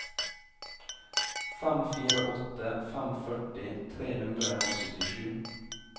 fem fire åtte fem førti tre hundre og syttisju